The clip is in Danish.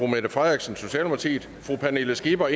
mette frederiksen pernille skipper